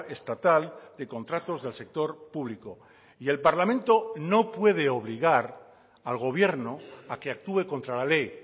estatal de contratos del sector público y el parlamento no puede obligar al gobierno a que actúe contra la ley